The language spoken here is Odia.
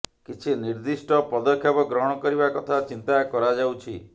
କିଛି ନିର୍ଦ୍ଦିଷ୍ଟ ପଦକ୍ଷେପ ଗ୍ରହଣ କରିବା କଥା ଚିନ୍ତା କରାଯାଉଛି